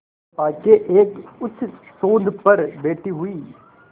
चंपा के एक उच्चसौध पर बैठी हुई